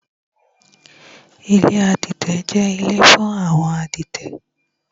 Ilé adẹ́tẹ̀ jẹ́ ilé fún àwọn adẹ́tẹ̀